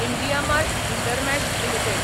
IndiaMART InterMESH limited